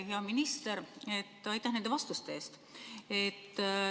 Hea minister, aitäh nende vastuste eest!